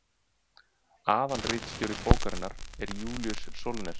aðalritstjóri bókarinnar er júlíus sólnes